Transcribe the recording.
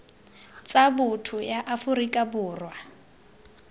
tsa botho ya aforika borwa